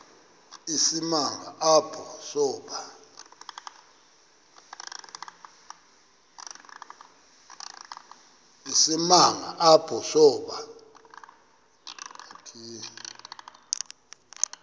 isimanga apho saba